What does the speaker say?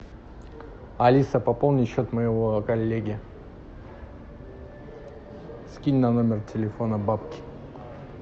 алиса пополни счет моего коллеги скинь на номер телефона бабки